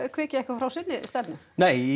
hviki eitthvað frá sinni stefnu í